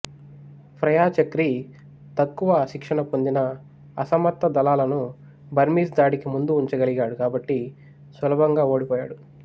Phraya Chakri తక్కువ శిక్షణ పొందినఅసమర్థ దళాలను బర్మీస్ దాడికి ముందు ఉంచగలిగాడుకాబట్టి సులభంగా ఓడిపోయాడు